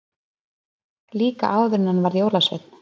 Líka áður en hann varð jólasveinn.